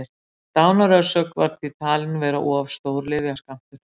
dánarorsök var því talin vera of stór lyfjaskammtur